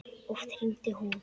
Oft hringdi hún.